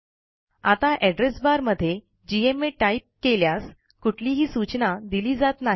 आता address bar मधे GMA type केल्यास कुठलीही सूचना दिली जात नाही